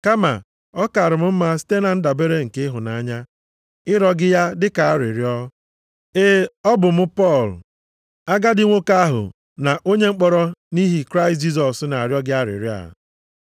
Kama, ọ kaara m mma site na ndabere nke ịhụnanya, ịrịọ gị ya dị ka arịrịọ. Ee, ọ bụ mụ Pọl, agadi nwoke ahụ na onye mkpọrọ nʼihi Kraịst Jisọs na-arịọ gị arịrịọ a.